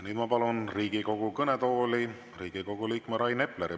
Nüüd ma palun Riigikogu kõnetooli Riigikogu liikme Rain Epleri.